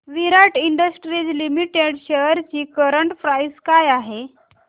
विराट industries limited shares ची current price काय आहे